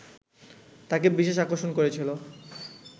তাঁকে বিশেষ আকর্ষণ করেছিল